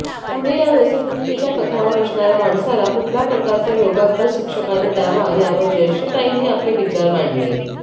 पुढे व्यसनमुक्तीच्या पथावर असणार्या माणसाला कुठल्याप्रकारचा योगाभ्यास शिक्षकाने द्यावा यावर जयश्रीताईंनी आपले विचार मांडले